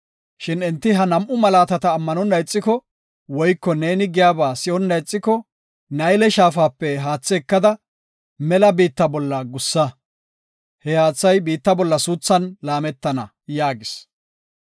Shin enti ha nam7u malaatata ammanonna ixiko, woyko neeni giyaba si7onna ixiko, Nayle Shaafape haathe ekada, mela biitta bolla gussa. He haathay biitta bolla suuthan laametana” yaagis.